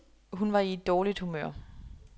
Hun var i et dårligt humør.